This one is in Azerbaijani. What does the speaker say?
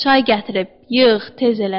Çay gətirib, yığ, tez elə.